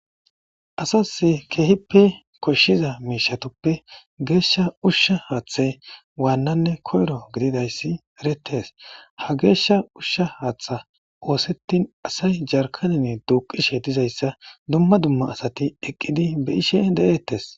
Asasi keehippe koshshiza miishatoppe geeshsha ushsha haaththa waannanne koyro gididayssi erettes ha geeshsha ushsha haaththa oosettin asay jarkanine duuqishe dizayssa dumma dumma asati eqqidi be ishe de'eettes.